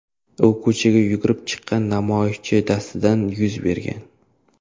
U ko‘chaga yugurib chiqqan namoyishchi dastidan yuz bergan.